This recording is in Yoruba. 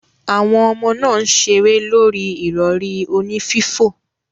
Awon omo naa n sere lori irori oni fifo.